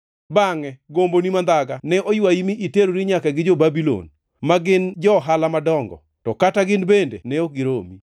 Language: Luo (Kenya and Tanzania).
Bangʼe, gomboni mandhaga ne oywayi mi iterori nyaka gi jo-Babulon, ma gin johala madongo, to kata gin bende ne ok giromi.